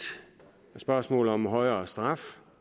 er spørgsmålet om højere straf